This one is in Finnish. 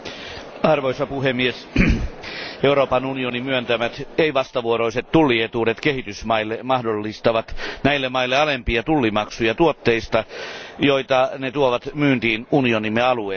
Arvoisa puhemies, Euroopan unionin myöntämät ei vastavuoroiset tullietuudet kehitysmaille mahdollistavat näille maille alempia tullimaksuja tuotteista, joita ne tuovat myyntiin unionimme alueelle.